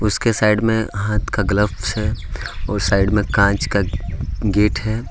उसके साइड में हाथ का ग्लव्स है और साइड में कांच का गेट है।